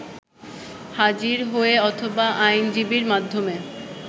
হাজির হয়ে অথবা আইনজীবীর মাধ্যমে